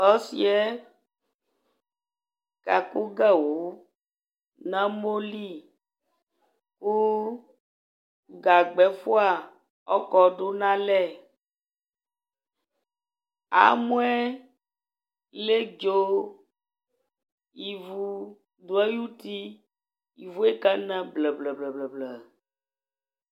Ɔsɩ yɛ kakʋ gawʋ nʋ amɔ li kʋ gagba ɛfʋa ɔkɔdʋ nʋ alɛ Amɔ yɛ ledzo, ivu dʋ ayuti Ivu yɛ kana blǝ-blǝ-blǝ-blǝ